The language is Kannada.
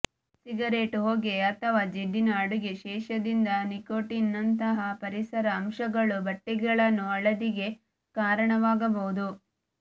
ಸಿಗರೇಟ್ ಹೊಗೆ ಅಥವಾ ಜಿಡ್ಡಿನ ಅಡುಗೆ ಶೇಷದಿಂದ ನಿಕೋಟಿನ್ ನಂತಹ ಪರಿಸರ ಅಂಶಗಳು ಬಟ್ಟೆಗಳನ್ನು ಹಳದಿಗೆ ಕಾರಣವಾಗಬಹುದು